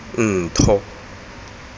ntho